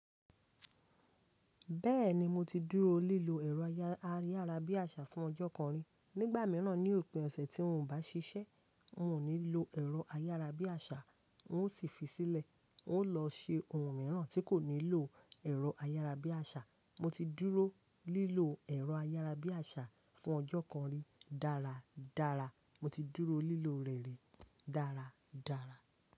Bẹ́ẹ̀ni, mo ti dúró lílo ẹ̀rọ ayárabíàṣá fún ọjọ́ kan rí. Nígbà mìíràn, ní òpin ọ̀sẹ̀ tí mò ń bá ṣiṣẹ́, mò ní lọ ẹ̀rọ ayárabíàṣá, wó sì fi sílẹ̀. N ó lọ ṣe ohun mìíràn tí kò nílò ẹ̀rọ ayárabíàṣá. Mo ti dúró lílo ẹ̀rọ ayárabíàṣá fún ọjọ́ kan rí dára dára. Mọ ti dúró lílò rẹ̀ rí dára dára.